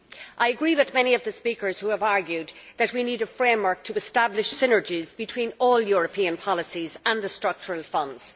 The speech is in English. I agree with many of the speakers who have argued that we need a framework to establish synergies between all European policies and the Structural Funds.